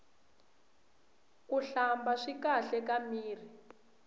kuhlamba swi kahle ka mirhi